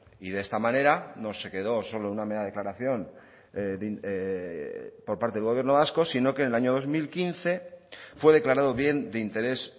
y de esta manera no se quedó solo una mera declaración por parte del gobierno vasco sino que en el año dos mil quince fue declarado bien de interés